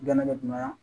Gɛnɛgɛnɛ